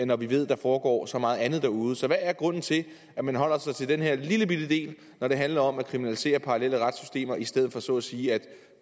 når vi ved der foregår så meget andet derude så hvad er grunden til at man holder sig til den her lillebitte del når det handler om at kriminalisere parallelle retssystemer i stedet for så at sige at